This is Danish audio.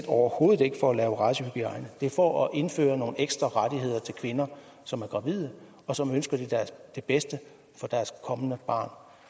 overhovedet ikke for at lave racehygiejne det er for at indføre nogle ekstra rettigheder til kvinder som er gravide og som ønsker det bedste for deres kommende barn